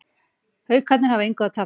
Haukarnir hafa engu að tapa